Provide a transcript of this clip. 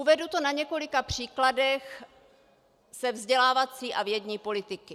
Uvedu to na několika příkladech ze vzdělávací a vědní politiky.